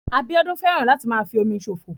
Abíọ́dún fẹ́ràn láti máa fi omi ṣòfò